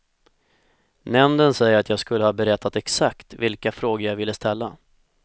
Nämnden säger att jag skulle ha berättat exakt vilka frågor jag ville ställa.